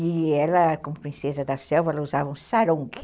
E ela, como princesa da selva, ela usava um sarong.